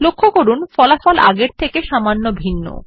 লক্ষ্য করুন ফলাফল আগের বারের থেকে সামান্য ভিন্ন